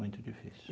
Muito difícil.